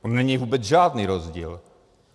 On není vůbec žádný rozdíl.